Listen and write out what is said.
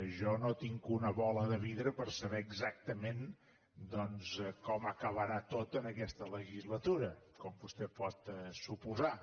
jo no tinc una bola de vidre per saber exactament doncs com acabarà tot en aquesta legislatura com vostè pot suposar